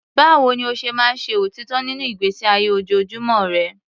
Báwo ni o ṣe máa ń ṣe òtítọ́ nínú ìgbésí ayé ojoojúmọ́ rẹ?